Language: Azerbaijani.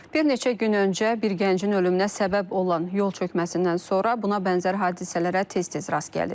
Bir neçə gün öncə bir gəncin ölümünə səbəb olan yol çökməsindən sonra buna bənzər hadisələrə tez-tez rast gəlirik.